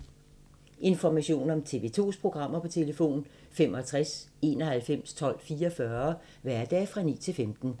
Information om TV 2's programmer: 65 91 12 44, hverdage 9-15.